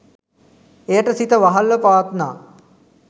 එයට සිත වහල්ව පවත්නා